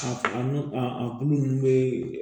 A nun a kulu nunnu bɛ